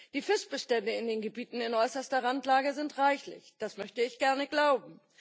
Die Fischbestände in den Gebieten in äußerster Randlage sind reichlich das möchte ich gerne glauben.